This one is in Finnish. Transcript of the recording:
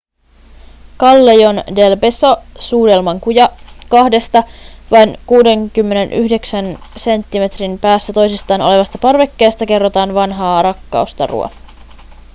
callejon del beso suudelman kuja. kahdesta vain 69 senttimetrin päässä toisistaan olevasta parvekkeesta kerrotaan vanhaa rakkaustarua